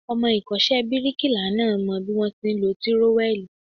Ọmọ ìkọ́ṣẹ́ bíríkilà náà mọ bí wón ti ń lọ tírówẹ́lìì.